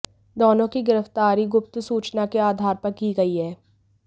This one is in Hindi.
दोनों की गिरफ्तारी गुप्त सूचना के आधार पर की गई है